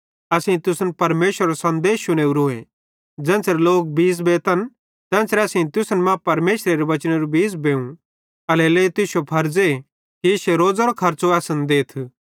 असेईं तुसन परमेशरेरो सन्देश शुनोवरोए ज़ेन्च़रे लोक बीज़ बेतन तेन्च़रे असेईं तुसन मां परमेशरेरे वचनेरू बीज़ बेव एल्हेरेलेइ तुश्शो फरज़े कि इश्शे रोज़ेरो खर्च़ो असन देथ